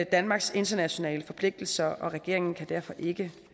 danmarks internationale forpligtelser og regeringen kan derfor ikke